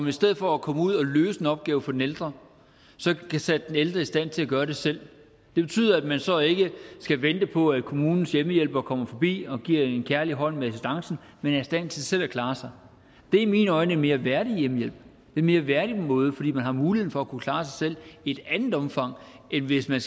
i stedet for at komme ud og løse en opgave for den ældre sætter den ældre i stand til at gøre det selv det betyder at man så ikke skal vente på at kommunens hjemmehjælpere kommer forbi og giver assistance med en kærlig hånd men er i stand til selv at klare sig det er i mine øjne en mere værdig hjemmehjælp det en mere værdig måde fordi man har mulighed for at kunne klare sig selv i et andet omfang end hvis man